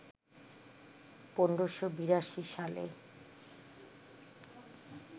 ১৫৮২ সালে